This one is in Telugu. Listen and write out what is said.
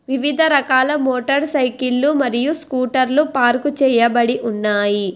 వివిధ రకాల మోటార్ సైకిళ్ళు మరియు స్కూటర్లు పార్కు చేయబడి ఉన్నాయి.